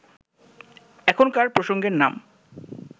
এখনকার প্রসঙ্গের নাম